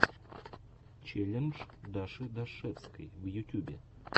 челлендж даши дашевской в ютюбе